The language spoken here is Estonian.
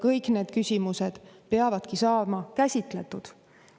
Kõik need küsimused peavad saama käsitletud.